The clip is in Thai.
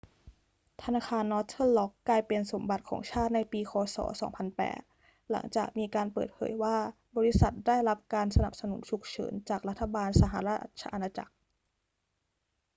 ธนาคารนอร์เทิร์นร็อกกลายเป็นสมบัติของชาติในปีค ศ. 2008 หลังจากมีการเปิดเผยว่าบริษัทได้รับการสนับสนุนฉุกเฉินจากรัฐบาลสหราชอาณาจักร